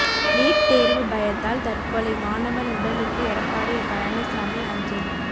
NEET தேர்வு பயத்தால் தற்கொலை மாணவன் உடலுக்கு எடப்பாடி பழனிசாமி அஞ்சலி